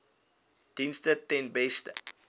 dienste ten beste